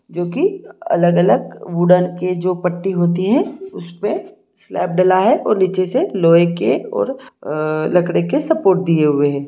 जो कि अलग-अलग उड़न के पट्टी होती है उसपे स्लैब डला है और नीचे से लोहे के और अ लकड़ी के सपोर्ट दिए है ।